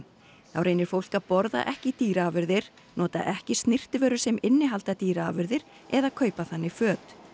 þá reynir fólk að borða ekki dýraafurðir nota ekki snyrtivörur sem innihalda dýraafurðir eða kaupa þannig föt